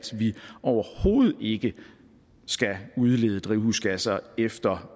vi overhovedet ikke skal udlede drivhusgasser efter